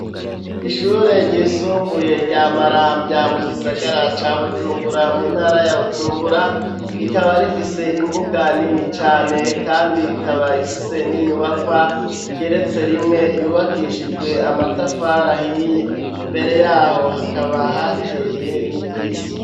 Ishure ryisumbuye rya maramvya mu gisagara ca bujumbura mu ntara ya bujumbura rikaba rifise imbuga nini cane kandi rikaba ifise n'inyubakwa igeretse rimwe yubakishijwe amatafari ahiye imbere yaho hakaba hateye n'igiti.